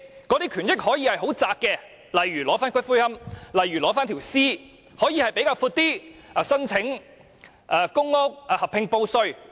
這些權益可以是狹窄的，例如取回骨灰、遺體；亦可以比較寬闊，例如申請公屋、合併報稅。